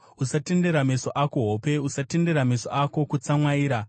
Usatendera meso ako hope, usatendera meso ako kutsumwaira.